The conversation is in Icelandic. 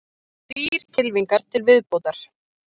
Þrír kylfingar til viðbótar